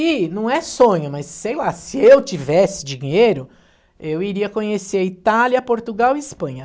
E não é sonho, mas sei lá, se eu tivesse dinheiro, eu iria conhecer Itália, Portugal e Espanha.